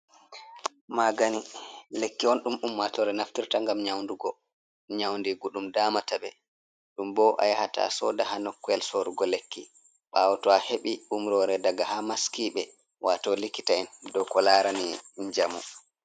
Maagani lekki on ɗum ummaatoore naftirta, ngam nyawndugo nyawundiigu ɗum daamata ɓe, ɗum bo a yahata sooda haa nokkuure sorrugo lekki, ɓaawo to a heɓi umroore daga haa maskiiɓe, waato likita'en dow ko laarani njamu.